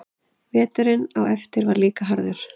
Veturinn á eftir var líka harður.